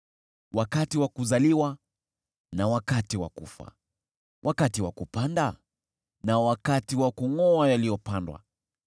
wakati wa kuzaliwa na wakati wa kufa, wakati wa kupanda na wakati wa kungʼoa yaliyopandwa,